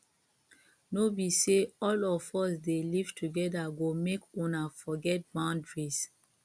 no be sey all of us dey live together go make una forget boundaries